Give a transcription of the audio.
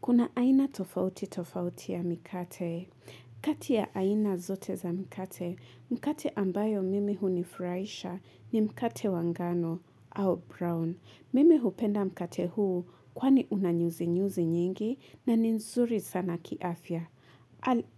Kuna aina tofauti tofauti ya mikate, kati ya aina zote za mikate, mkate ambayo mimi hunifuraisha ni mkate wa ngano au brown. Mimi hupenda mkate huu kwani unanyuzinyuzi nyingi na nzuri sana kiafya.